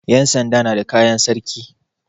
Yansanda na da kayan sarki.